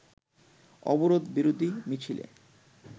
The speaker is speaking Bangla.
অবরোধ বিরোধী মিছিলে